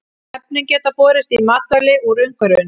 Efnin geta borist í matvæli úr umhverfinu.